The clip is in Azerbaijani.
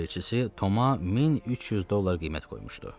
alverçisi Toma 1300 dollar qiymət qoymuşdu.